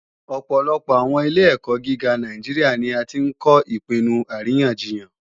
Ọ̀pọ̀lọpọ̀ àwọn ilé-ẹ̀kọ́ gíga Nàìjíríà ni a tí ń kọ́ Ìpinnu Àríyànjiyàn